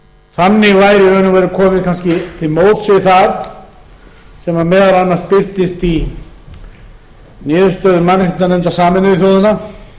og veru komið kannski til móts við það sem meðal annars birtist í niðurstöðum mannréttindanefndar sameinuðu þjóðanna að